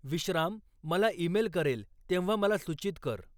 विश्राम मला ईमेल करेल तेव्हा मला सूचित कर.